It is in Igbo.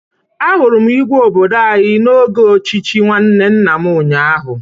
Ahụrụ m Igwe obodo anyị n'oge ochichi nwanne nna m ụnyaahụ.